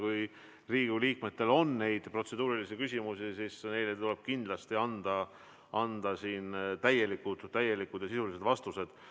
Kui Riigikogu liikmetel on protseduurilisi küsimusi, siis tuleb neile kindlasti anda siin täielikud ja sisulised vastused.